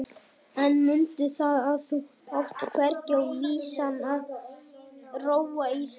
En mundu það að þú átt hvergi á vísan að róa í þessu.